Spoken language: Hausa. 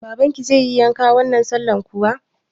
Babanki zai yi yanka wannan sallan kuwa?